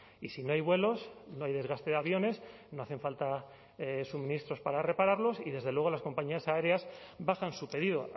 y si no hay vuelos no hay desgaste de aviones no hacen falta suministros para repararlos y desde luego las compañías aéreas bajan su pedido